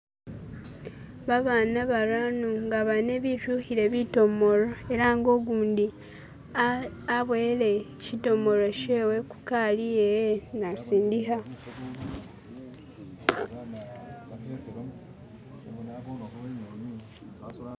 Babana barano nga bane bishukhile bitomolo elanga ukundi ah aboyele shitomolo shewe kukali yewe nasindikha